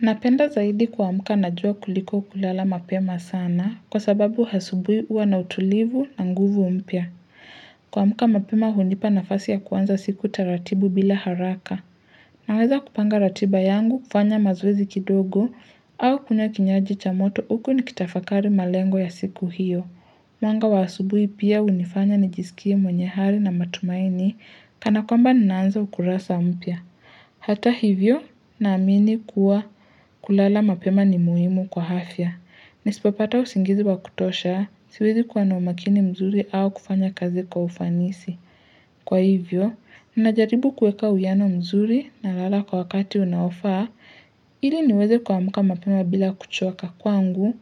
Napenda zaidi kuamka na jua kuliko kulala mapema sana kwa sababu asubui huwa na utulivu na nguvu mpya. Kuamka mapema hunipa nafasi ya kuanza siku taratibu bila haraka. Naweza kupanga ratiba yangu kufanya mazoezi kidogo au kunywa kinywaji cha moto huku nikitafakari malengo ya siku hiyo. Mwanga wa hasubui pia unifanya nijisikie mwenye hari na matumaini kanakwamba ninaanza ukurasa mpya. Hata hivyo ninaamini kuwa kulala mapema ni muhimu kwa hafya. Nisipopata usingizi wa kutosha, siwezi kuwa na umakini mzuri au kufanya kazi kwa ufanisi. Kwa hivyo, ninajaribu kuweka uiano mzuri nalala kwa wakati unaofa, ili niweze kuamka mapema bila kuchoka kwangu,